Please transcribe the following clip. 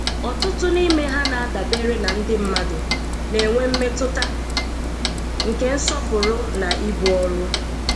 Ọtụtụ n'ime ha na-adabere na ndị mmadụ, na-enwe mmetụta nke nsọpụrụ na ibu ọrụ.